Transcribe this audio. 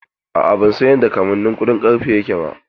A'a, ban san yadda kamannin kuɗin ƙarfe yake ba.